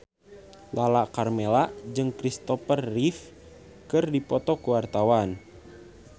Lala Karmela jeung Christopher Reeve keur dipoto ku wartawan